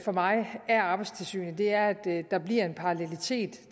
for mig af arbejdstilsynet er at der her bliver en parallelitet